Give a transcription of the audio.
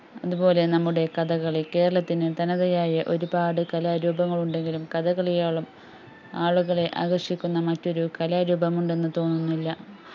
അതുപോലെ നമ്മുടെ കഥകളി കേരളത്തിന്റെ തനതയായ ഒരുപാട് കലാരൂപങ്ങൾ ഉണ്ടങ്കിലും കഥകളിയോളം ആളുകളെ ആകർഷിക്കുന്ന മറ്റൊരു കലാരൂപം ഉണ്ടെന്നുതോന്നുന്നില്ല